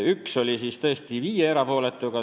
Ühel otsusel oli tõesti viis erapooletut.